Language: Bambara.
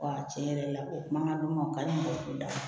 tiɲɛ yɛrɛ la o mankan duman o ka ɲi mɔgɔ t'o la